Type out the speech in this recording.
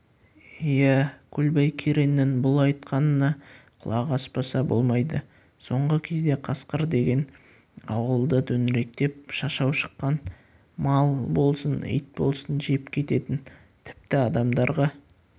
иә көлбай кереңнің бұл айтқанына құлақ аспаса болмайды соңғы кезде қасқыр деген ауылды төңіректеп шашау шыққан мал болсын ит болсын жеп кететін тіпті адамдарға